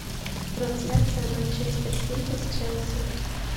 трансляция манчестер сити с челси